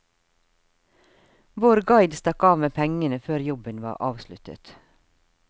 Vår guide stakk av med pengene før jobben var avsluttet.